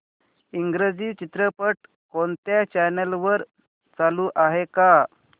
इंग्रजी चित्रपट कोणत्या चॅनल वर चालू आहे का